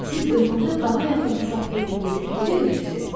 Siz özünüzə daha yaxın hesab etdiyinizi necə bilirsiz?